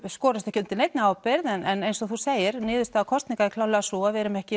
skorumst ekki undan neinni ábyrgð en eins og þú segir þá er niðurstaða kosninga klárlega sú að við erum ekki